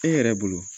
E yɛrɛ bolo